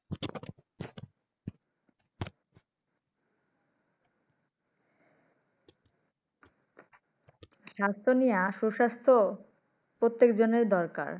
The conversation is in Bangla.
স্বাস্থ্য নিয়া সু-স্বাস্থ্য প্রত্যেক জনের দরকার।